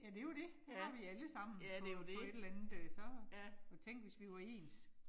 Ja det jo det, det har vi allesammen på på et eller andet øh så, og tænk, hvis vi var ens